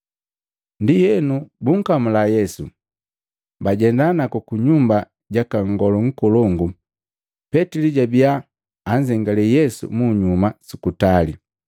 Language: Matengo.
Ndienu bunkamula Yesu, bajenda naku ku nyumba jaka nngolu nkolongu, Petili jabia anzengalee Yesu munyuma su kutali.